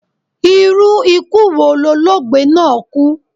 Irú ikú wo lologbe náà kú?